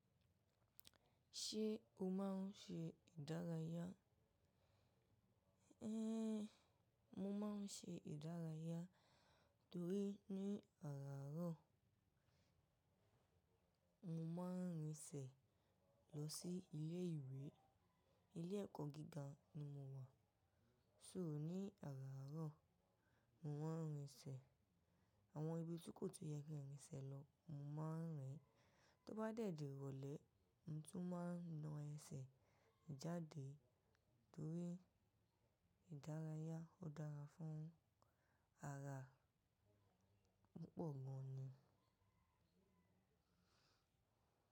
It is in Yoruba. Ṣé o máà ń ṣe ìdárayá? Éhn, mo máà ń ṣe ìdárayá torí ní àràárọ̀, mo máa ń rìn sẹ̀ lọ sí ilé ìwé. Ilé ẹ̀kọ́ gíga ni mo wà. So ní àràárọ̀, mo máa ń rìn sẹ̀. Àwọn ibi tí kò tó yẹ kí n rìn sẹ̀ lọ, mo máa ń rìn. Tó bá dẹ̀dí rọlẹ̀, ǹ tú máa na ẹsẹ̀ jáde torí ìdárayá ó dára fún ara. Púpọ̀ gan ni.